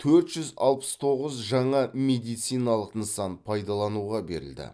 төрт жүз алпыс тоғыз жаңа медициналық нысан пайдалануға берілді